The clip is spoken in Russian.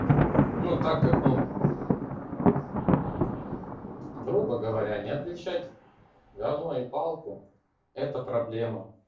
ну так как ну грубо говоря не отвечать гавно и палку это проблема